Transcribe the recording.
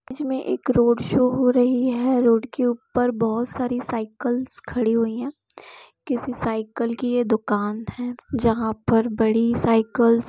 इसमें एक road show हो रही है रोड के ऊपर बहुत सारी साइकल्स खड़ी हुयी है किसी सायकल की ये दुकान है जहा पर बड़ी सायकल --